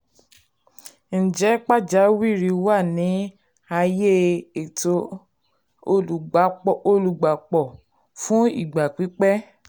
ǹjẹ́ pàjáwìrì wà ní ààyè ètò olùgbápò olùgbàpọ̀ fún ìgbà pípẹ́?